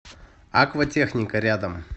акватехника рядом